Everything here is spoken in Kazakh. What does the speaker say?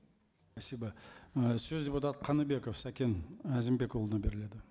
спасибо і сөз депутат қаныбеков сәкен әзімбекұлына беріледі